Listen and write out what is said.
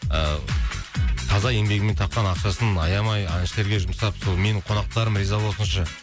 ыыы таза еңбегімен тапқан ақшасын аямай әншілерге жұмсап сол менің қонақтарым риза болсыншы